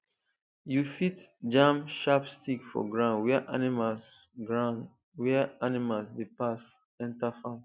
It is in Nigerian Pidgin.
you fit jam sharp stick for ground where animals ground where animals dey pass enter farm